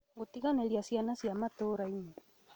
Gũtiganĩria ciana cia matũũra-inĩ